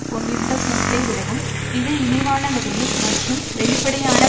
கொண்டிருந்த கூட்டை விடவும் மிக இழிவான வகையில் மற்றும் வெளிப்படையான